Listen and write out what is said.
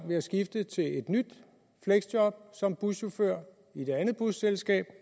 ved at skifte til et nyt fleksjob som buschauffør i et andet busselskab og